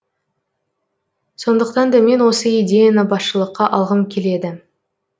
сондықтан да мен осы идеяны басшылыққа алғым келеді